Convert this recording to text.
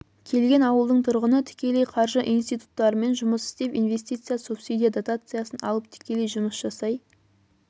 келген ауылдың тұрғыны тікелей қаржы институттарымен жұмыс істеп инвестиция субсидия дотациясын алып тікелей жұмыс жасай